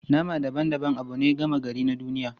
Nama daban-daban abu ne gama gari na duniya.